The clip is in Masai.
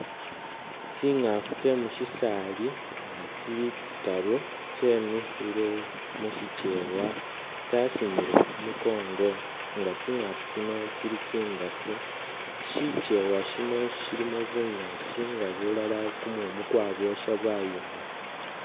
Tsingaafu tse musisaali nga tsili tsitaaru tsemikhiile mushichewa tsa tsasinyile khu mukongo nga tsingaafu tsino tsili tsindaafu shicheewa shino shilimo bunyaasi nga bulala bulimo kumumu nga kwabwosha bwayooma.